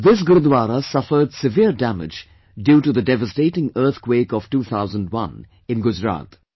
This Gurudwara suffered severe damage due to the devastating earth quake of 2001 in Gujarat